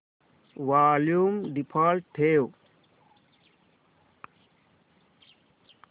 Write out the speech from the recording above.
volume default ठेव